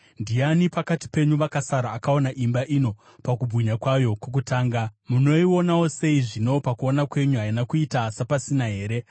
‘Ndiani pakati penyu vakasara akaona imba ino pakubwinya kwayo kwokutanga? Munoionawo sei zvino? Pakuona kwenyu haina kuita sapasina here?